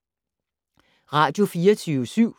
Radio24syv